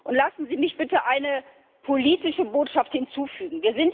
Und lassen Sie mich bitte eine politische Botschaft hinzufügen.